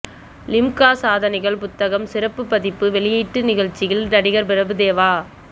லிம்கா சாதனைகள் புத்தகம் சிறப்பு பதிப்பு வெளியீட்டு நிகழ்ச்சியில் நடிகர் பிரபுதேவா